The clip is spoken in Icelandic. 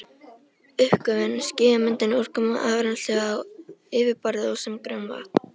Uppgufun, skýjamyndun, úrkoma, afrennsli á yfirborði og sem grunnvatn.